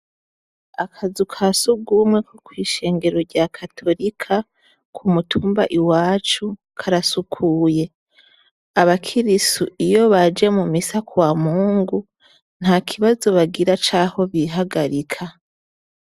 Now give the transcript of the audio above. Akazu ka surwumwe ko kw'ishengero rya katorika ku mutumba iwacu karasukuye. Abakirisu iyo baje mu misa ku wa Mungu nta kibazo bagira c'aho bihagarika.